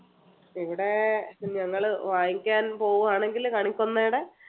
ഇവിടെ~ ഞങ്ങൾ വാങ്ങിക്കാൻ പോവുകയാണെങ്കിൽ കണിക്കൊന്നടെ